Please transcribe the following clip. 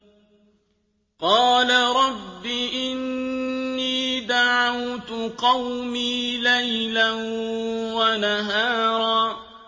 قَالَ رَبِّ إِنِّي دَعَوْتُ قَوْمِي لَيْلًا وَنَهَارًا